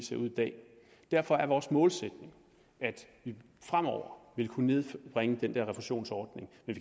ser ud i dag og derfor er vores målsætning at vi fremover vil kunne nedbringe den der refusionsordning men